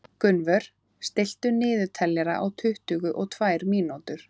Gunnvör, stilltu niðurteljara á tuttugu og tvær mínútur.